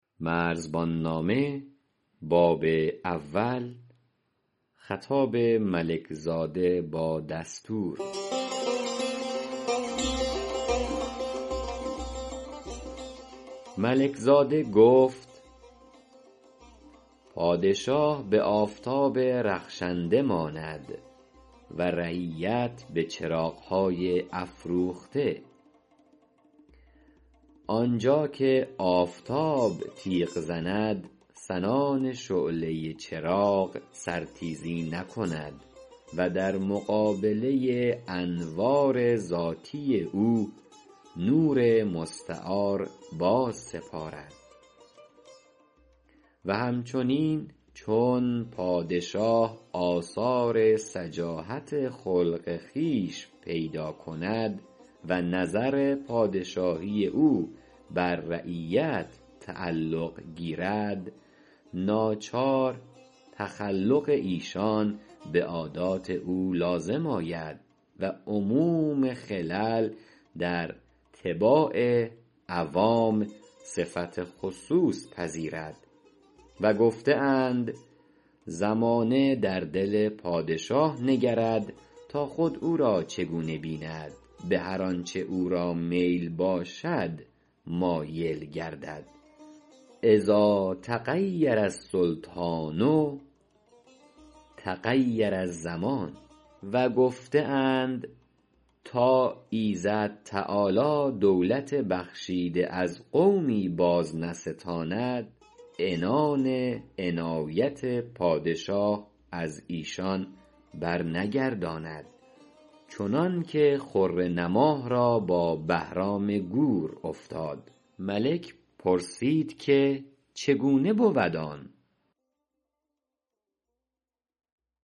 ملک زاده گفت پادشاه بآفتاب رخشنده ماند و رعیت بچراغهای افروخته آنجا که آفتاب تیغ زند سنان شعله چراغ سر تیزی نکند و در مقابله انوار ذاتی او نور مستعار باز سپارد و همچنین چون پادشاه آثار سجاحت خلق خویش پیدا کند و نظر پادشاهی او بر رعیت تعلق گیرد ناچار تخلق ایشان بعادات او لازم آید و عموم خلل در طباع عوام صفت خصوص پذیرد و گفته اند زمانه در دل پادشاه نگرد تا خود او را چگونه بیند بهر آنچ او را میل باشد مایل گردد إذا تغیر السلطان تغیر الزمان و گفته اند تا ایزد تعالی دولت بخشیده از قومی باز نستاند عنان عنایت پادشاه از ایشان برنگرداند چنانک خره نماه را با بهرام گور افتاد ملک پرسید که چگونه بود آن